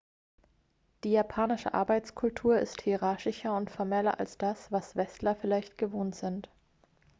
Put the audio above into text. die japanische arbeitskultur ist hierarchischer und formeller als das was westler vielleicht gewohnt sind